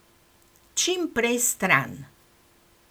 Čim prej stran.